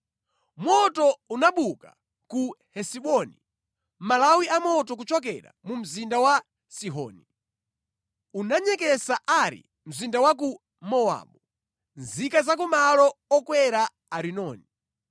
“Moto unabuka ku Hesiboni, malawi a moto kuchokera mu mzinda wa Sihoni. Unanyeketsa Ari mzinda wa ku Mowabu, nzika za ku malo okwera a Arinoni.